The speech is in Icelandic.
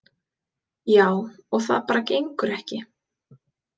Já, og það bara gengur ekki.